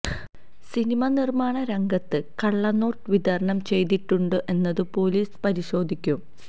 cinema നിർമാണ രംഗത്ത് കള്ളനോട്ട് വിതരണം ചെയ്തിട്ടുണ്ടോ എന്നതും പോലീസ് പരിശോധിക്കും